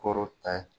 Koro ta ye